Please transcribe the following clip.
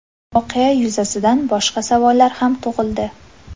Voqea yuzasidan boshqa savollar ham tug‘ildi.